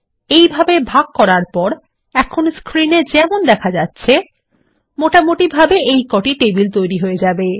এইভাগে ভাগ করার পর এখন স্ক্রিন এ যেমন দেখা যাচ্ছে মোটামুটিভাবে এইকটি টেবিল তৈরী হযে যাবে